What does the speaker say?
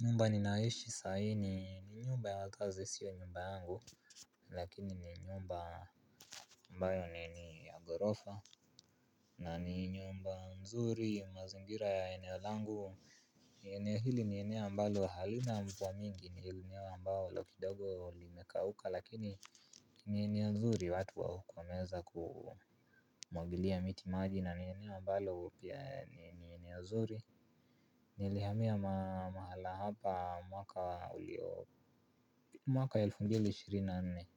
Nyumba ninaishi sahii ni ni nyumba ya wakazi sio nyumba yangu lakini ni nyumba ambayo ni ya ghorofa na ni nyumba nzuri mazingira ya eneo langu ni hili ni eneo ambalo halina mvua mingi ni eneo ambao kidogo limekauka lakini ni eneo nzuri watu wa huku wameweza kumwagilia miti maji na ni eneo ambalo pia ni eneo nzuri. Nilihamia mahala hapa mwaka ulio mwaka wa elfu mbili ishirini na nne.